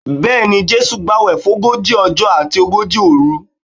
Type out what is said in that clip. Bẹ́ẹ̀ni, Jésù gbàwẹ̀ fógójì ọjọ́ àti ogójì òru